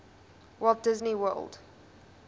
walt disney world